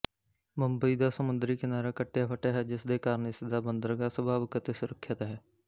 ਮੁੰਬਈ ਦਾ ਸਮੁੰਦਰੀ ਕਿਨਾਰਾ ਕਟਿਆਫੱਟਿਆ ਹੈ ਜਿਸਦੇ ਕਾਰਨ ਇਸ ਦਾ ਬੰਦਰਗਾਹ ਸੁਭਾਵਕ ਅਤੇ ਸੁਰੱਖਿਅਤ ਹੈ